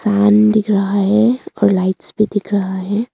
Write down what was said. Fan दिख रहा है और लाइट्स भी दिख रहा है।